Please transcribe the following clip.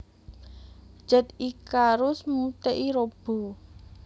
Jet Icarus Muteki Robo